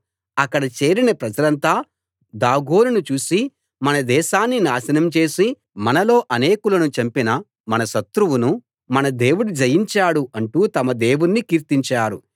అక్కడ చేరిన ప్రజలంతా దాగోనును చూసి మన దేశాన్ని నాశనం చేసి మనలో అనేకులను చంపిన మన శత్రువును మన దేవుడు జయించాడు అంటూ తమ దేవుణ్ణి కీర్తించారు